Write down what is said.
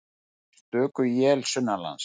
Stöku él sunnanlands